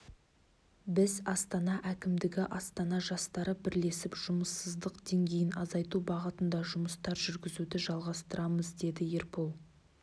біз астана әкімдігі астана жастары бірлесіп жұмыссыздық деңгейін азайту бағытында жұмыстар жүргізуді жалғастырамыз деді ербол